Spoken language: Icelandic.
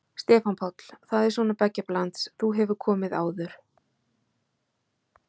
Stefán Páll: Það er svona beggja blands, þú hefur komið áður?